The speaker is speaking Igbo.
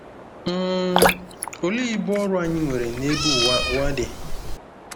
um Olee ibu ọrụ anyị nwere n'ebe ụwa ụwa dị?